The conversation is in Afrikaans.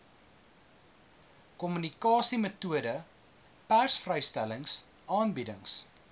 kommunikasiemetodes persvrystellings aanbiedings